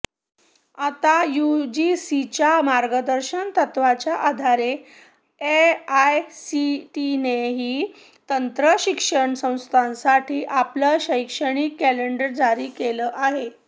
आता यूजीसीच्या मार्गदर्शक तत्वांच्या आधारे एआयसीटीईने तंत्र शिक्षण संस्थांसाठी आपलं शैक्षणिक कॅलेंडर जारी केलं आहे